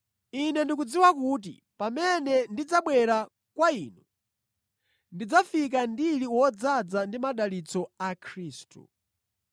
Ine ndikudziwa kuti pamene ndidzabwera kwa inu, ndidzafika ndili wodzaza ndi madalitso a Khristu.